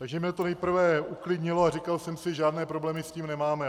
Takže mně to nejprve uklidnilo a říkal jsem si - žádné problémy s tím nemáme.